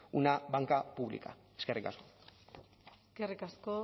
una banca pública eskerrik asko eskerrik asko